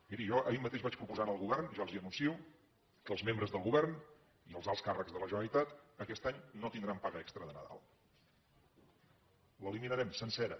miri jo ahir mateix vaig proposar al govern ja els ho anuncio que els membres del govern i els alts càrrecs de la generalitat aquest any no tindran paga extra de nadal l’eliminarem sencera